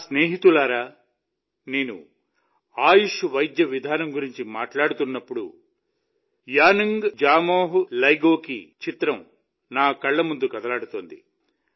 నా స్నేహితులారా నేను ఆయుష్ వైద్య విధానం గురించి మాట్లాడుతున్నప్పుడు యానుంగ్ జామోహ్ లెగో చిత్రం నా కళ్ల ముందు కదలాడుతోంది